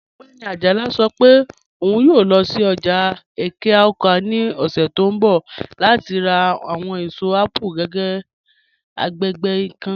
Ogbẹni Ajala sọ́ pẹ̀ ọ̀un yòò lọ́ sí ọ́jà Ẹ̀ké-Awka ni ọ̀ṣẹ̀ tó nbọ̀ láti rá àwọn èṣọ̀ apple agbẹ́gbẹ́ kan.